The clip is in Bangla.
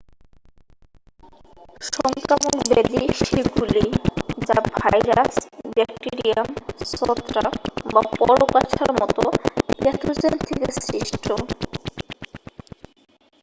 সংক্রামক ব্যাধি সেগুলিই যা ভাইরাস ব্যাকটিরিয়াম ছত্রাক বা পরগাছার মতো প্যাথোজেন থেকে সৃষ্ট